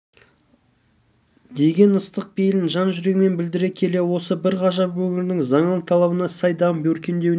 деген ыстық пейілін жан-жүрегімен білдіре келе осы бір ғажап өңірдің заман талабына сай дамып өркендеуіне